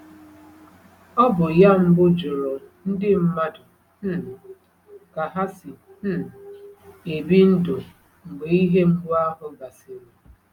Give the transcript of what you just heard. Ọ bụ ya mbụ jụrụ ndị mmadụ um ka ha si um ebi ndụ mgbe ihe mgbu ahụ gasịrị.